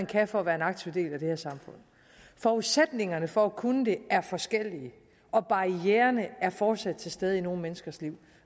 kan for at være en aktiv del af det her samfund forudsætningerne for at kunne det er forskellige og barriererne er fortsat til stede i nogle menneskers liv